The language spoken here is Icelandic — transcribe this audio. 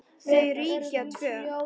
Þau ríkja tvö.